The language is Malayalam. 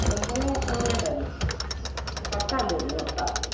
ഒമ്പതോ പത്തോ ങ്ങാണ്ടാ ഇന്ന് പത്താന്ന് തോന്നുന്ന് പത്താ